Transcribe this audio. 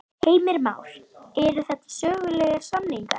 Heimir Már: Eru þetta sögulegir samningar?